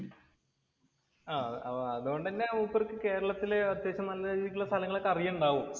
അതുകൊണ്ടുതന്നെ മൂപ്പർക്ക് കേരളത്തിലുള്ള അത്യാവശ്യം നല്ല രീതിക്കുള്ള സ്ഥലങ്ങൾ അറിയുന്നുണ്ടാവും.